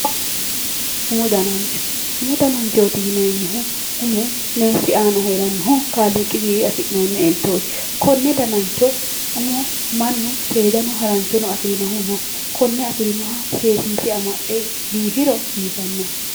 Umu danancho. Umu dananchooti yineemmohu umu meessi aana heerannohu kaaliiqiwiinni afi'noonni eltooti. Konne danancho umo mannu seedano garanchono afirinohu no. Konne afirinoha seesiise amaxxe biifiro biifanno.